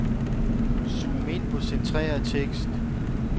Zoom ind på centreret tekst.